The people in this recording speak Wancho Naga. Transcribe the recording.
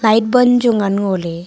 light ban chu ngan ngoley.